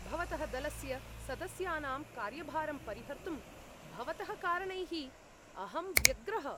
भवतः दलस्य सदस्यानां कार्यभारं परिहर्तुं भवतः कारणैः अहं व्यग्रः।